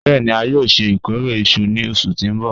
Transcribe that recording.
Bẹẹni a yoo ṣe ikore iṣu ni oṣu ti n bọ